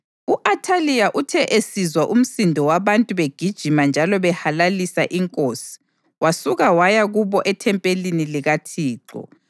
U-Athaliya uthe esizwa umsindo wabantu begijima njalo behalalisa inkosi, wasuka waya kubo ethempelini likaThixo.